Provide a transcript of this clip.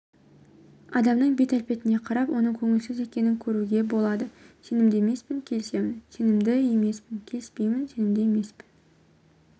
адамның бет-әлпетіне қарап оның көңілсіз екенін көруге болады сенімді емеспін келісемін сенімді емеспін келіспеймін сенімді емеспін